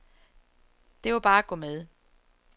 Det var bare at gå med.